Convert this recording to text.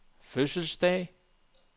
fødselsdag